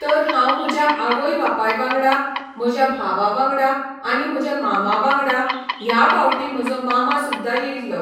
तर हांव म्हज्या आवय बापाय वांगडा, म्हज्या भावा वांगडा आनी म्हजे मामा वांगडा, ह्या फावटीं म्हजो मामा सुद्दां येयल्लो.